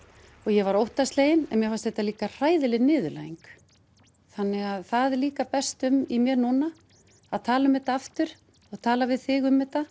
ég var óttaslegin en mér fannst þetta líka hræðileg niðurlæging þannig það líka berst um í mér núna að tala um þetta aftur og tala við þig um þetta